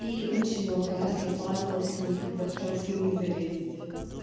и очень много раз я падала с них когда пыталась на них залезть